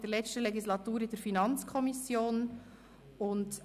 Ich finde es unglaublich schön, wenn junge Leute voller Elan solche Sachen machen.